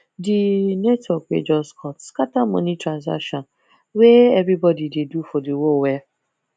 the network wey just cut scatter money transactions wey everybody dey do for the world well